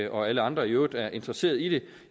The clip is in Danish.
og alle andre i øvrigt er interesseret i det